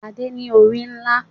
Adé ní orí ńlá.